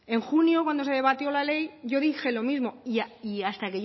en junio cuando se debatió la ley yo dije lo mismo y hasta